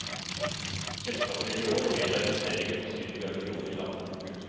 Selskapet vil i år vedta investeringer på syv milliarder kroner i landet. punktum